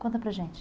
Conta para gente.